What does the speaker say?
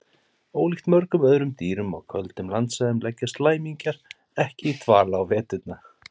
Ólíkt mörgum öðrum dýrum á köldum landsvæðum leggjast læmingjar ekki í dvala á veturna.